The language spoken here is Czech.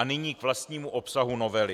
A nyní k vlastnímu obsahu novely.